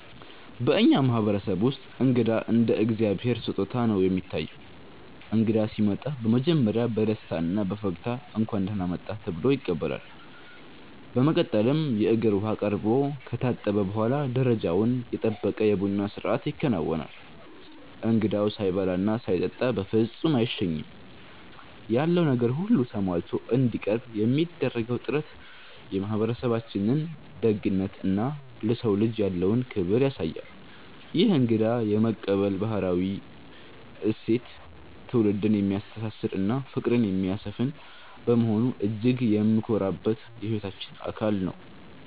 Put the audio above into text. በእኛ ማህበረሰብ ውስጥ እንግዳ እንደ እግዚአብሔር ስጦታ ነው የሚታየው። እንግዳ ሲመጣ በመጀመሪያ በደስታና በፈገግታ 'እንኳን ደህና መጣህ' ተብሎ ይቀበላል። በመቀጠልም የእግር ውሃ ቀርቦ ከታጠበ በኋላ፣ ደረጃውን የጠበቀ የቡና ስነስርዓት ይከናወናል። እንግዳው ሳይበላና ሳይጠጣ በፍጹም አይሸኝም። ያለው ነገር ሁሉ ተሟልቶ እንዲቀርብ የሚደረገው ጥረት የማህበረሰባችንን ደግነትና ለሰው ልጅ ያለውን ክብር ያሳያል። ይህ እንግዳ የመቀበል ባህላዊ እሴት ትውልድን የሚያስተሳስርና ፍቅርን የሚያሰፍን በመሆኑ እጅግ የምንኮራበት የህይወታችን አካል ነው።